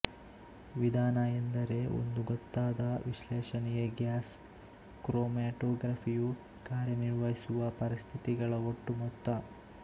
ವಿಧಾನ ಎಂದರೆ ಒಂದು ಗೊತ್ತಾದ ವಿಶ್ಲೇಷಣೆಗೆ ಗ್ಯಾಸ್ ಕ್ರೊಮ್ಯಾಟೊಗ್ರಫಿಯು ಕಾರ್ಯ ನಿರ್ವಹಿಸುವ ಪರಿಸ್ಥಿತಿಗಳ ಒಟ್ಟು ಮೊತ್ತ